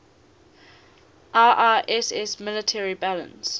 iiss military balance